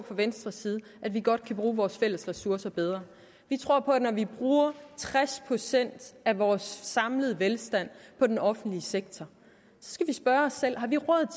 fra venstres side at vi godt kan bruge vores fælles ressourcer bedre vi tror at når vi bruger tres procent af vores samlede velstand på den offentlige sektor skal vi spørge os selv har vi råd